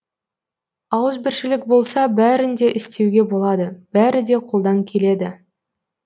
ауызбіршілік болса бәрін де істеуге болады бәрі де қолдан келеді